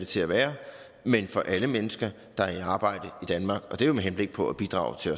til at være men for alle mennesker der er i arbejde i danmark og det er jo med henblik på at bidrage til